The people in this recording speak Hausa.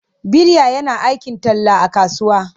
Bilya yana aikin talla a kasuwa.